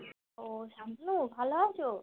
ও শুভ ভালো আছো?